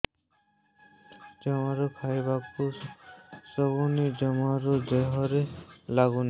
ଜମାରୁ ଖାଇବାକୁ ବସୁନି ଜମାରୁ ଦେହରେ ଲାଗୁନି